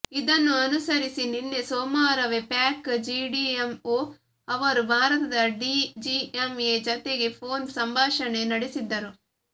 ಇದನ್ನು ಅನುಸರಿಸಿ ನಿನ್ನೆ ಸೋಮವಾರವೇ ಪಾಕ್ ಡಿಜಿಎಂಓ ಅವರು ಭಾರತದ ಡಿಜಿಎಂಏ ಜತೆಗೆ ಫೋನ್ ಸಂಭಾಷಣೆ ನಡೆಸಿದ್ದರು